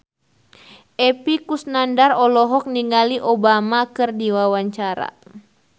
Epy Kusnandar olohok ningali Obama keur diwawancara